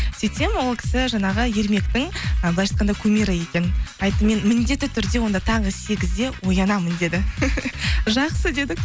сөйтсем ол кісі жаңағы ермектің ы былайынша айтқанда кумирі екен айттым мен міндетті түрде онда таңғы сегізде оянамын деді жақсы дедік